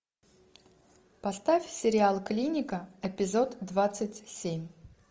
поставь сериал клиника эпизод двадцать семь